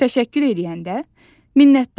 Təşəkkür eləyəndə minnətdaram.